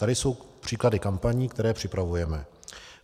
Tady jsou příklady kampaní, které připravujeme.